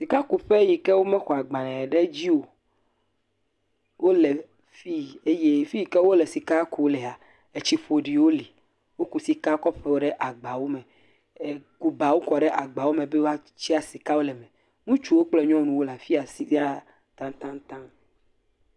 Sika yike wome xɔ agbalẽ ɖe edzi wole fi eye fiyike wole sika kum lea etsi ƒoɖiwo li, woku sika kɔ ƒo ɖe agbawo me. Woku ebawo kɔ ɖe gba me woatsia sika le eme. Ŋutsuwo kple nyɔnuwo le fiya sɛ̃a tatanta.